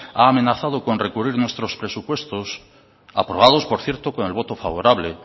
ha amenazado con recurrir nuestros presupuestos aprobados por cierto con el voto favorable